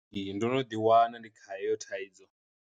Ee ndo no ḓi wana ndi kha heyo thaidzo.